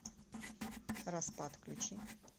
распад включи